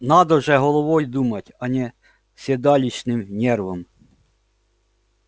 надо же головой думать а не седалищным нервом